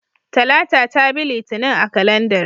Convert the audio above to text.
Talata ta bi Litinin a kalandar.